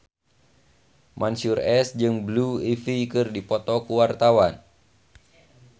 Mansyur S jeung Blue Ivy keur dipoto ku wartawan